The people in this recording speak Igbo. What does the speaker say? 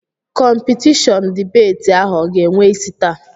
Kọmpitishọnụ dibeeti ahụ ọ ga-enwe isi taa?